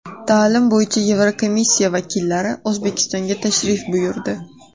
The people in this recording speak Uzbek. Ta’lim bo‘yicha Yevrokomissiya vakillari O‘zbekistonga tashrif buyurdi.